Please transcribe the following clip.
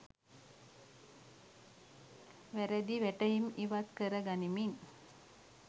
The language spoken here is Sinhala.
වැරදි වැටහීම් ඉවත් කර ගනිමින්